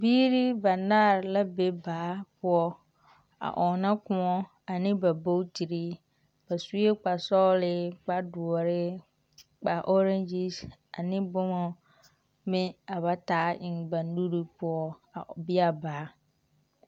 Biiri banaare la be baa poɔ a ɔnnɔ kõɔ ane ba bootiri ba sue kpare sɔgele, kpare doɔre kpare ɔreŋgyesi ane boma ka ba taa eŋ ba nuru poɔ a ɔ... be a baa.